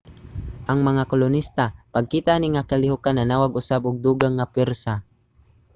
ang mga kolonista pagkita ani nga kalihokan nanawag usab og dugang nga pwersa